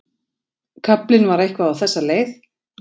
Kaflinn var eitthvað á þessa leið